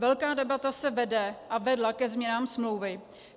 Velká debata se vede a vedla ke změnám smlouvy.